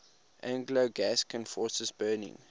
anglo gascon forces burning